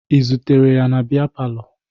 Ị zutere ya na bịa palọ?